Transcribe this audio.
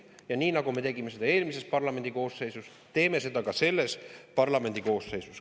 Ja nii, nagu me seda tegime eelmises parlamendi koosseisus, teeme seda ka selles parlamendi koosseisus.